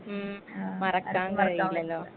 ഉം മറക്കാൻ കഴിയില്ലല്ലോ.